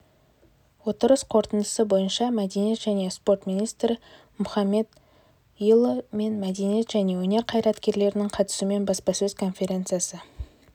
отырыс қорытындысы бойынша мәдениет және спорт министрі мұхамедиұлы мен мәдениет және өнер қайраткерлерінің қатысуымен баспасөз конференциясы